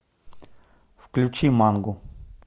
включи мангу